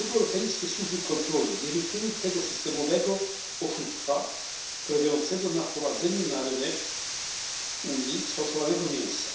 Dlaczego europejskie służby kontroli nie wykryły tego systemowego oszustwa polegającego na wprowadzaniu na rynek Unii sfałszowanego mięsa?